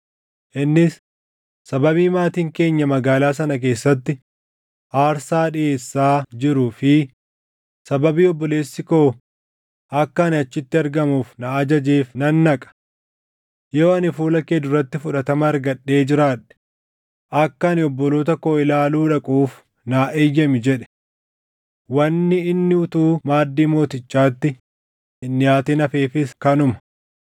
Innis, ‘Sababii maatiin keenya magaalaa sana keessatti aarsaa dhiʼeessaa jiruu fi sababii obboleessi koo akka ani achitti argamuuf na ajajeef nan dhaqa. Yoo ani fuula kee duratti fudhatama argadhee jiraadhe akka ani obboloota koo ilaaluu dhaquuf naa eeyyami’ jedhe. Wanni inni utuu maaddii mootichaatti hin dhiʼaatin hafeefis kanuma.”